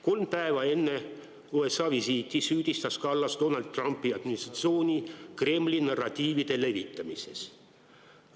Kolm päeva enne USA visiiti süüdistas Kallas Donald Trumpi administratsiooni Kremli narratiivide levitamises.